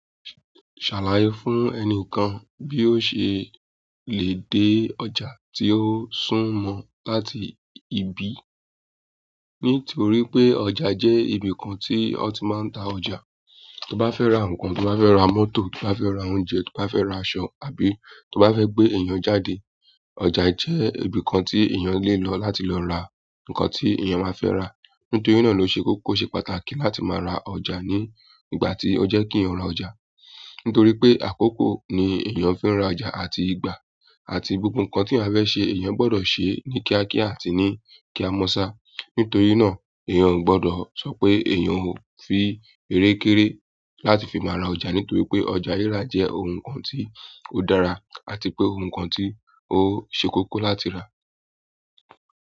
Ṣàlàyé fún ẹnìkan bí ó ṣe lè dé ọjà tí ó sún mọ̀ láti ibi. Nítorí pé ọjà jẹ́ ibìkan tí wọ́n ti máa ń ta ọjà. Tí o bá fẹ́ ra ǹkan, tí o bá fẹ́ ra mọ́tò, tí o bá fẹ́ ra oúnjẹ, tí o bá fẹ́ ra aṣọ, àbí tó bá fẹ́ gbé èyàn jáde, ọjà jẹ́ ibi kan tí èyàn lè lò láti ra ǹkan tí eyan bá fẹ́ ra. Nítorí na lè ṣe kókó, ó ṣe pàtàkì láti má ra ọjà ní ìgbà tí o jẹ́ kí èyàn má ra ọjà. Nítorí pé àkókò ni èèyàn fi ń ra ọjà àti ìgbà àti gbogbo nǹkan tí a fẹ́ ṣe èèyàn gbọ́dọ̀ ṣe ní kíákíá àti ní kíá mọ́ṣá. Nítorí na, èyàn ò gbọ́dọ̀ sọ pé èyàn fi erekere láti fi má ra ọjà nítorí pé ọjà ríra jẹ́ oun kan tí odara, àti pé oun kan tó ṣe kókó láti ra.